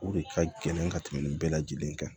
O de ka gɛlɛn ka tɛmɛ nin bɛɛ lajɛlen kan